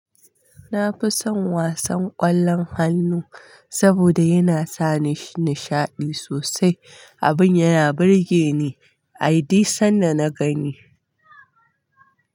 Na fi son wasan ƙwallon hannu saboda yana sa nishaɗi sosai, abin yana burge ni ay duk sanda na gani.